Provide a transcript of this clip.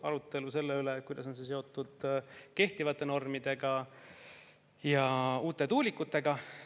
Arutelu oli selle üle, kuidas on see seotud kehtivate normidega ja uute tuulikutega.